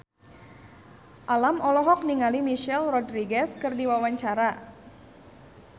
Alam olohok ningali Michelle Rodriguez keur diwawancara